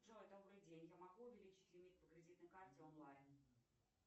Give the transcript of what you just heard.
джой добрый день я могу увеличить лимит по кредитной карте онлайн